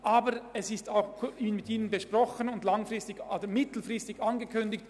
Aber wir haben das Vorgehen mit den Hochschulen besprochen und es ihnen mittelfristig angekündigt.